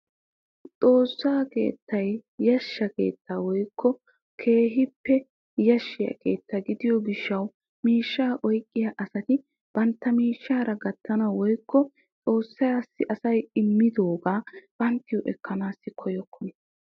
Xoossaa keettay yashsha keettaa woykko keehippe yashshiyaa keetta gidiyoo gishshawu miishshaa oyqqiyaa asati bantta miishshara gattanawu woykko xoossassi asay immidoogaa banttawu ekkanawu koyyokona.